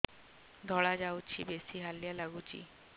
ଧଳା ଯାଉଛି ବେଶି ହାଲିଆ ଲାଗୁଚି